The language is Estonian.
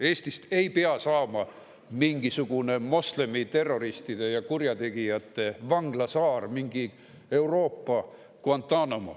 Eestist ei pea saama mingisugune moslemiterroristide ja kurjategijate vanglasaar, mingi Euroopa Guantánamo.